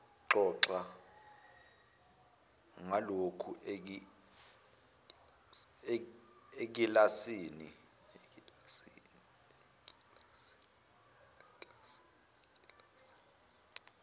xoxa ngalokhu ekilasini